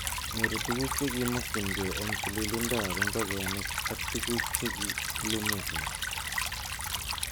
Nyorun tuguk chekimokyin kee en tilindo ab ingogenik ak tuguk che kilumen gee.